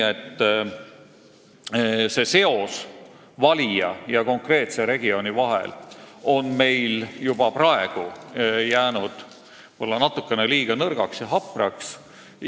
See seos valija ja konkreetse regiooniga on meil juba praegu jäänud võib-olla natukene liiga nõrgaks ja hapraks.